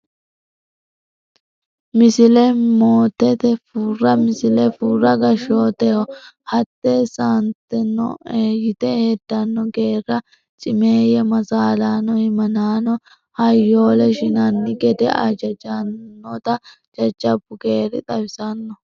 Misile Mootitte Furra Misile Furra gashshooteho hettisantannoe yite heddanno geerra cimeeyye masaalaano himanaanonna hayyoolle shinanni gede hajajjannota jajjabbu geerri xawissanno.